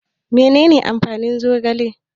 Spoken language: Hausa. Menene amfanin zogale?